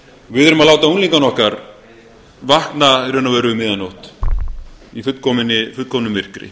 við erum að láta unglingana okkar vakna í raun og veru um miðja nótt í fullkomnu myrkri